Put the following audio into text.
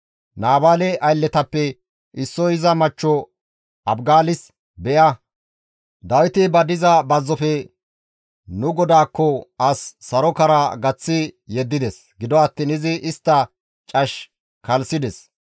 Naabaale aylletappe issoy iza machcho Abigaalis, «Be7a, Dawiti ba diza bazzofe nu godaakko as sarokara gaththi yeddides. Gido attiin izi istta cash kalssides.